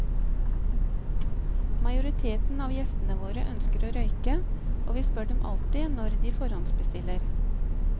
Majoriteten av gjestene våre ønsker å røyke, og vi spør dem alltid når de forhåndsbestiller.